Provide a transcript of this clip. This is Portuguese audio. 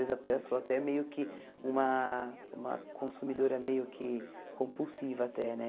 Às vezes, até sou até meio que uma uma consumidora meio que compulsiva até, né?